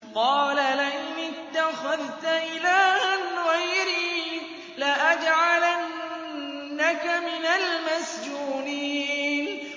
قَالَ لَئِنِ اتَّخَذْتَ إِلَٰهًا غَيْرِي لَأَجْعَلَنَّكَ مِنَ الْمَسْجُونِينَ